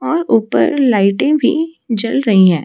और ऊपर लाइटें भी जल रही हैं।